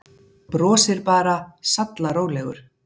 Brosir bara, sallarólegur.